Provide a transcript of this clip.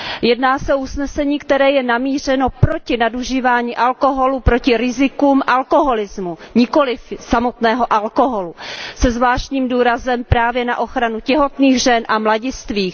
Jedná se o usnesení, které je namířeno proti nadužívání alkoholu, proti rizikům alkoholismu, nikoliv samotného alkoholu, se zvláštním důrazem právě na ochranu těhotných žen a mladistvých.